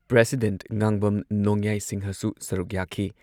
President Ngangbam ꯅꯣꯡꯌꯥꯏ ꯁꯤꯡꯍꯁꯨ ꯁꯔꯨꯛ ꯌꯥꯈꯤ꯫